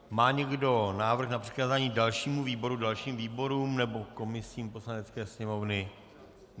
Má někdo návrh na přikázání dalšímu výboru, dalším výborům nebo komisím Poslanecké sněmovny?